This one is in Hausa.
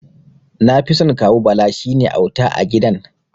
Nafison Kawu Bala, shine auta a gidan.